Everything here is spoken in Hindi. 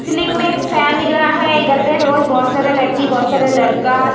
सीलिंग में एक फैन दिख रहा है इधर पे रोज बहुत सारी लड़की बहुत सारे लड़का --